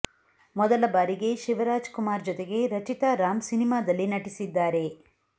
ಮೊದಲ ಬಾರಿಗೆ ಶಿವರಾಜ್ ಕುಮಾರ್ ಜೊತೆಗೆ ರಚಿತಾ ರಾಮ್ ಸಿನಿಮಾದಲ್ಲಿ ನಟಿಸಿದ್ದಾರೆ